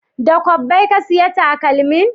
Da kwabbai ka saya takalmin?